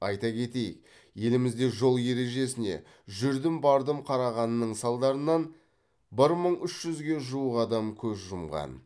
айта кетейік елімізде жол ережесіне жүрдім бардым қарағанның салдарынан бір мың үш жүзге жуық адам көз жұмған